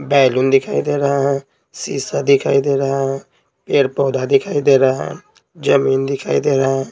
Balloon दिखाई दे रहा है शीशा दिखाई दे रहा है पेड़-पौधा दिखाई दे रहा है जमीन दिखाई दे रहा है।